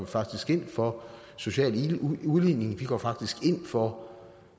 faktisk ind for social udligning vi går faktisk ind for